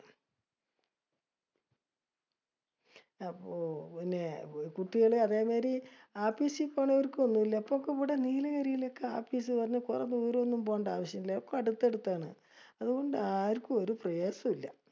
അപ്പൊ പിന്നെ അഹ് കുട്ടികള് അതേമായിരി ആപീസി പോണോർക്കും ഒന്നൂല്ല. ഇപ്പൊക്കെയിവിടെ നീലഗിരിയിലൊക്കെ ആപ്പീസ് ദൂരെയൊന്നും പോണ്ടാവശ്യയില്ല. ഒക്കെ അടുത്തഅടുത്താണ്. അതുകൊണ്ട് ആർക്കും ഒരു പ്രയാസോം ഇല്ല.